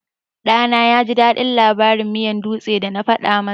Ɗana yaji daɗin labarin miyan dutse da na faɗa masa.